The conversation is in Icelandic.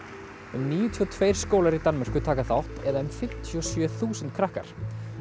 um níutíu og tveir skólar í Danmörku taka þátt eða um fimmtíu og sjö þúsund krakkar